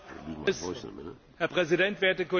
Herr Präsident, werte Kolleginnen und Kollegen!